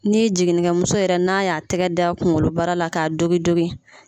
Ni jiginni kɛmuso yɛrɛ n'a y'a tɛgɛ da kungolobara la k'a dogi dogi.